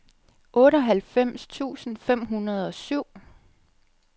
otteoghalvfems tusind fem hundrede og syv